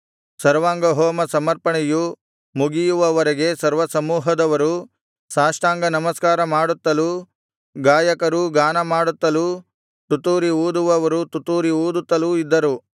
ಸರ್ವಾಂಗಹೋಮ ಸಮರ್ಪಣೆಯು ಮುಗಿಯುವವರೆಗೆ ಸರ್ವಸಮೂಹದವರು ಸಾಷ್ಟಾಂಗ ನಮಸ್ಕಾರ ಮಾಡುತ್ತಲೂ ಗಾಯಕರೂ ಗಾನಮಾಡುತ್ತಲೂ ತುತ್ತೂರಿ ಊದುವವರು ತುತ್ತೂರಿ ಊದುತ್ತಲೂ ಇದ್ದರು